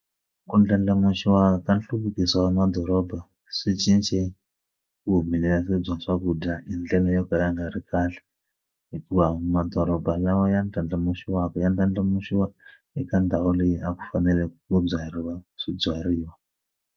Ku ndlandlamuxiwa ka nhluvukiso wa madoroba swi cince vuhumelerisi bya swakudya hi ndlela yo ka ya nga ri kahle hikuva madoroba lawa ya ndlandlamuxiwa mhaka ya ndlandlamuxiwa eka ndhawu leyi a ku faneleke ku byariwa swibyariwa.